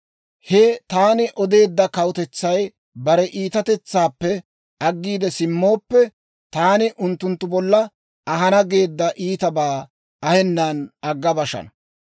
he taani odeedda kawutetsay bare iitatetsaappe aggiide simmooppe, taani unttunttu bolla ahana geedda iitabaa ahenan agga bashana.